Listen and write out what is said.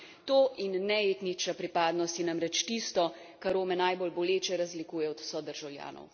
To in ne etnična pripadnost je namreč tisto, kar Rome najbolj boleče razlikuje od sodržavljanov.